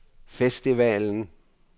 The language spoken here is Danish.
festivalen